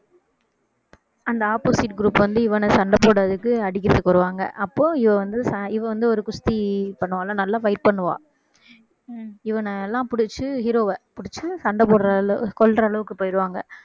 அந்த opposite group வந்து இவனை சண்டை போடுறதுக்கு அடிக்கிறதுக்கு வருவாங்க அப்போ இவ வந்து ச~ இவ வந்து ஒரு குஸ்தி பண்ணுவாள்ல நல்லா fight பண்ணுவா இவனைலாம் பிடிச்சு hero வ பிடிச்சு சண்டை போடுற~ கொல்ற அளவுக்கு போயிடுவாங்க